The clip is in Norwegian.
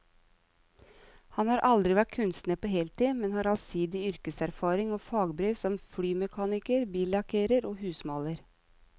Han har aldri vært kunstner på heltid, men har allsidig yrkeserfaring og fagbrev som flymekaniker, billakkerer og husmaler.